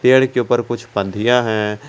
पेड़ के ऊपर कुछ पंधियां हैं।